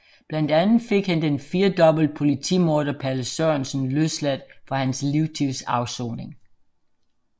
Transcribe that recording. Blandt andre fik han den firdobbelt politimorder Palle Sørensen løsladt fra hans livstidsafsoning